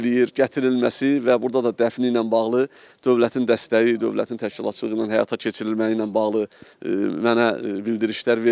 gətirilməsi və burda da dəfni ilə bağlı dövlətin dəstəyi, dövlətin təşkilatçılığı ilə həyata keçirilməyi ilə bağlı mənə bildirişlər verilib,